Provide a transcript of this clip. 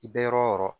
I bɛ yɔrɔ yɔrɔ